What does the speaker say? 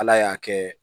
Ala y'a kɛ